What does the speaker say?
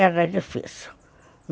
Era difícil.